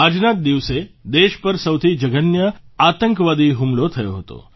આજના જ દિવસે દેશ પર સૌથી જઘન્ય આતંકવાદી હુમલો થયો હતો